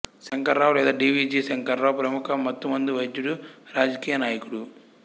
శంకర్రావు లేదా D V G Shankarrao ప్రముఖ మత్తుమందు వైద్యుడు రాజకీయ నాయకుడు